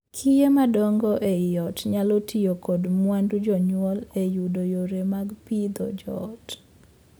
Kiye madongo ei ot nyalo tiyo kod mwandu jonyuol e yudo yore mag pidho joot.